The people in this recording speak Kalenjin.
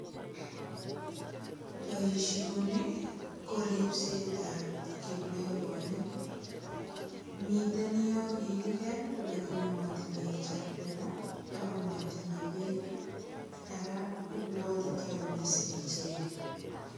Boisioni ko ripsetab kiplegonik. Miten yon kigiger, lagini matinye chakula ago matiche beek. Ara ibwatitoi mising ichege.